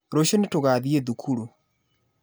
Rũciũ nĩ tũgathiĩ thukuru.